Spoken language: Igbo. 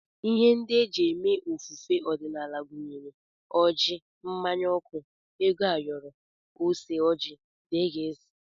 Ihe ndị e ji eme ofufe ọdịnala gụnyere ọjị, mmanya ọkụ, ego ayoro, ose ọjị, dgz